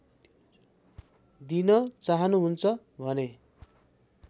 दिन चाहनुहुन्छ भने